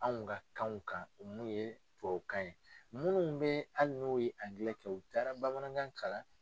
Anw ka kanw kan mun ye tubabukan ye munnu bɛ hali n'u ye angilɛ kɛ u taara bamanankan kalan.